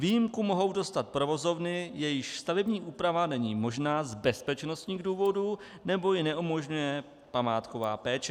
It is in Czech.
Výjimku mohou dostat provozovny, jejichž stavební úprava není možná z bezpečnostních důvodů nebo ji neumožňuje památková péče.